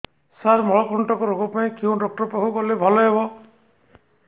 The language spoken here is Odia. ସାର ମଳକଣ୍ଟକ ରୋଗ ପାଇଁ କେଉଁ ଡକ୍ଟର ପାଖକୁ ଗଲେ ଭଲ ହେବ